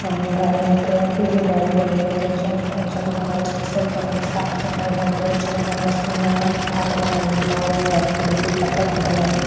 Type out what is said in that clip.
अ गाडी का कुई भी गाडी हुए वेथे चमका चम्कान्दा छि सई कन साफ़ सफै हुन्द चम्कान्दा छि इने बाठ लगन्दी और यी बाली थे बिलकुल परफेक्ट बणैंदी।